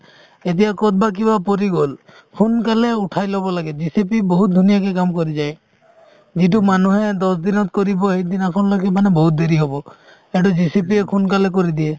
এতিয়া ক'ৰবাত কিবা পৰি গ'ল সোনকালে উঠাই ল'ব লাগে JCB বহুত ধুনীয়াকে কাম কৰি যায় যিটো মানুহে দহ দিনত কৰিব সেইদিনাখনলৈকে মানে বহুত দেৰি হ'ব এইটো JCB য়ে সোনকালে কৰি দিয়ে